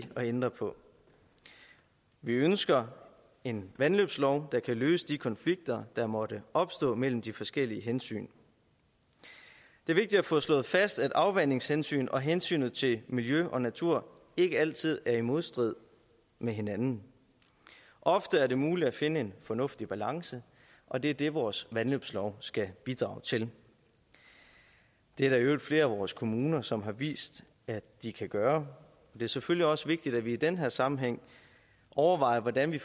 at ændre på vi ønsker en vandløbslov der kan løse de konflikter der måtte opstå mellem de forskellige hensyn det er vigtigt at få slået fast at afvandingshensyn og hensynet til miljø og natur ikke altid er i modstrid med hinanden ofte er det muligt at finde en fornuftig balance og det er det vores vandløbslov skal bidrage til det er der i øvrigt flere af vores kommuner som har vist at de kan gøre det er selvfølgelig også vigtigt at vi i den her sammenhæng overvejer hvordan vi